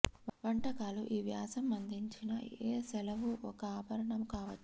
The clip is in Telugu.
వంటకాలు ఈ వ్యాసం అందించిన ఏ సెలవు ఒక ఆభరణము కావచ్చు